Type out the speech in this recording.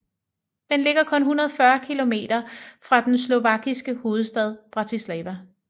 Den ligger kun 140 kilometer fra den slovakiske hovedstad Bratislava